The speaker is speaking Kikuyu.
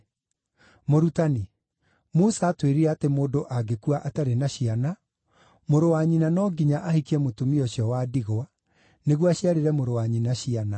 “Mũrutani, Musa aatwĩrire atĩ mũndũ angĩkua atarĩ na ciana, mũrũ wa nyina no nginya ahikie mũtumia ũcio wa ndigwa, nĩguo aciarĩre mũrũ wa nyina ciana.